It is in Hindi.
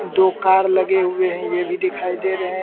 दो कार लगे हुए हैं यह भी दिखाई दे रहे हैं।